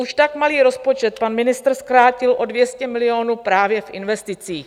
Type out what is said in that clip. Už tak malý rozpočet pan ministr zkrátil o 200 milionů právě v investicích.